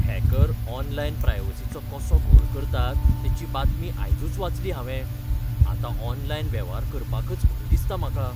Hacker online प्रायवसिचो कसो घोळ करतात तेची बातमी आयजूच वाचली हांवें, आतां ऑनलायन वेव्हार करपाकच भंय दिसता म्हाका.